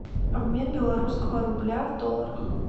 обмен белорусского рубля в долларах